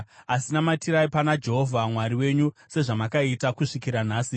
Asi namatirai pana Jehovha Mwari wenyu sezvamakaita kusvikira nhasi.